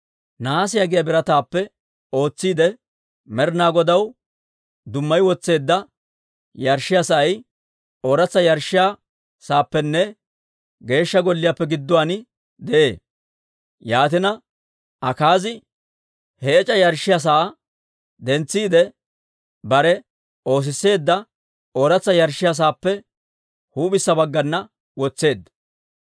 Nahaasiyaa giyaa birataappe ootsiide, Med'ina Godaw dummayi wotseedda yarshshiyaa sa'ay ooratsa yarshshiyaa saappenne Geeshsha Golliyaappe gidduwaan de'ee. Yaatina Akaazi he ec'a yarshshiyaa sa'aa dentsiide, bare oosisseedda ooratsa yarshshiyaa saappe huup'issa baggana wotseedda.